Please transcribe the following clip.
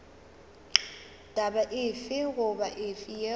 taba efe goba efe yeo